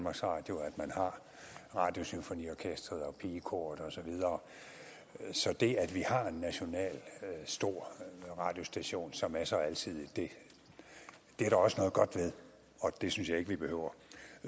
radio og at man har radiosymfoniorkesteret og pigekoret og så videre så det at vi har en stor national radiostation som er så alsidig er der også noget godt ved og det synes jeg ikke vi behøver